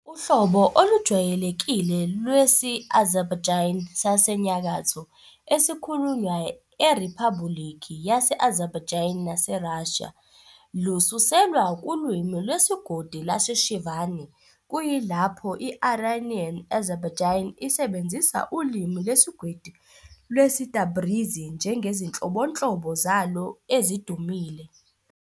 Uhlobo olujwayelekile lwesi-Azerbaijani saseNyakatho, esikhulunywa eRiphabhulikhi yase-Azerbaijan nase-Russia, lususelwe kulwimi lwesigodi lwase-Shirvani, kuyilapho i-Iranian Azerbaijani isebenzisa ulimi lwesigodi lwesi-Tabrizi njengezinhlobonhlobo zalo ezidumile.